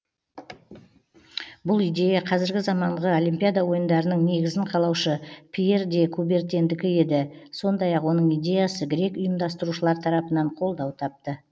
бұл идея қазіргі заманғы олимпиада ойындарының негізін қалаушы пьер де кубертендікі еді сондай ақ оның идеясы грек ұйымдастырушылар тарапынан қолдау тапты